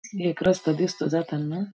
एक रस्ता दिसतो जाताना.